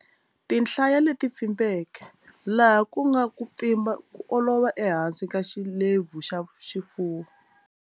Tinhlaya leti pfimbeke, laha ku nga ku pfimba ko olova ehansi ka xilepfu xa xifuwo.